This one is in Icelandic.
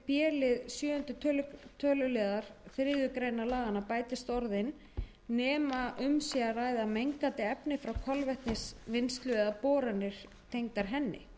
töluliður þriðju grein laganna bætist orðin nema um sé að ræða mengandi efni frá kolvetnisvinnslu eða boranir tengdar henni